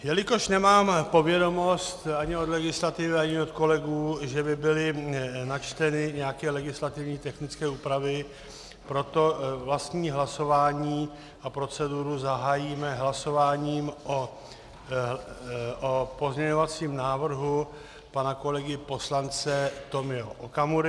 Jelikož nemám povědomost ani od legislativy, ani od kolegů, že by byly načteny nějaké legislativně technické úpravy, proto vlastní hlasování a proceduru zahájíme hlasováním o pozměňovacím návrhu pana kolegy poslance Tomio Okamury.